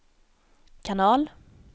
kanal